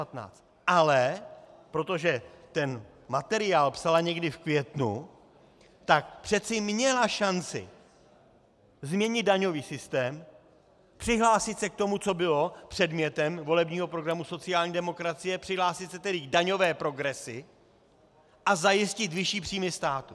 Ale protože ten materiál psala někdy v květnu, tak přece měla šanci změnit daňový systém, přihlásit se k tomu, co bylo předmětem volebního programu sociální demokracie, přihlásit se tedy k daňové progresi a zajistit vyšší příjmy státu.